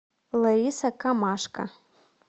лариса камашко